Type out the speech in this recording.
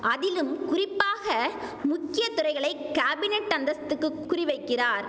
அதிலும் குறிப்பாக முக்கிய துறைகளை காபினட் அந்தஸ்துக்கு குறி வைக்கிறார்